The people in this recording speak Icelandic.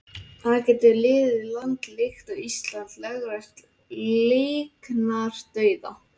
En getur lítið land líkt og Ísland lögleitt líknardauða?